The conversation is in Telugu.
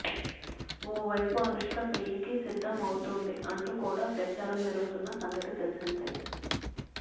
ఓవైపు అనుష్క పెళ్ళికి సిద్ధం అవుతోంది అంటూ కూడా ప్రచారం జరుగుతున్న సంగతి తెలిసిందే